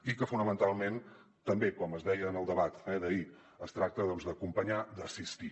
i fonamentalment també com es deia en el debat d’ahir es tracta d’ acompanyar d’ assistir